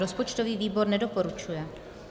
Rozpočtový výbor nedoporučuje.